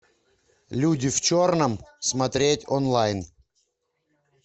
люди в черном смотреть онлайн